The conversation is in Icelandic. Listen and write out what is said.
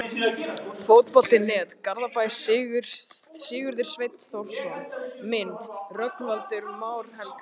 Fótbolti.net, Garðabæ- Sigurður Sveinn Þórðarson Mynd: Rögnvaldur Már Helgason